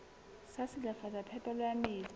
sa silafatsa phepelo ya metsi